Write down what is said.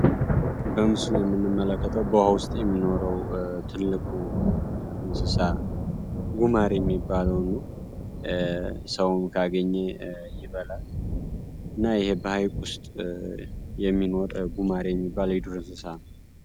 በምስል ውስጥ የሚመለከተው በውስጥ የሚኖረው ትልቁ እንስሳ ነው ጉማሬ የሚባለውን ነው። ሰው ካገኘ ይበላል እና ይህ ዉስጥ የሚገኝ ጉማሬ የሚባል እንስሳ ነው።